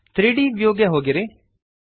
3ದ್ ವ್ಯೂಗೆ ಹೋಗಿರಿ